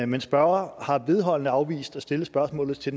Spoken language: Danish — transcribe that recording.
men spørgeren har vedholdende afvist at stille spørgsmålet til